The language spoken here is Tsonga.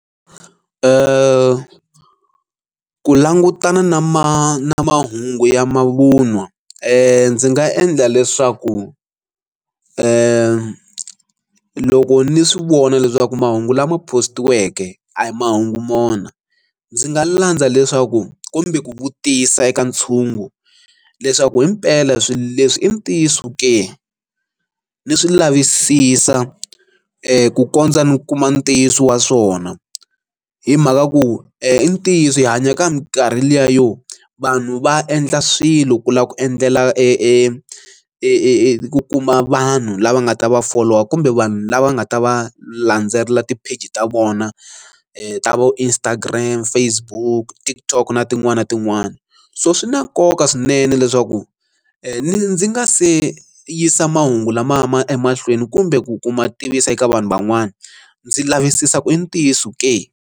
Ku langutana na ma na mahungu ya mavun'wa ndzi nga endla leswaku ku loko ni swi vona leswaku mahungu lama postiweke a hi mahungu mona ndzi nga landza leswaku kumbe ku vutisa eka ntshungu leswaku himpela swilo leswi i ntiyiso ke ni swi lavisisa ku kondza ni kuma ntiyiso wa swona hi mhaka ya ku i ntiyiso hi hanya ka minkarhi liya yo vanhu va endla swilo ku lava ku endlela e e e eku kuma vanhu lava nga ta va folowa kumbe vanhu lava nga ta va landzelela ti page ta vona ku a vo Instagram Facebook TikTok na tin'wani na tin'wani so swi na nkoka swinene leswaku ndzi nga se yisa mahungu lamaya ma emahlweni kumbe ku kuma tivisa eka vanhu van'wana ndzi lavisisa ku i ntiyiso ke.